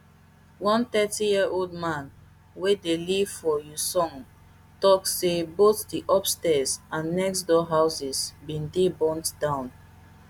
one thirtyyearold man wey dey live for uiseong tok say both di upstairs and next door houses bin dey burnt down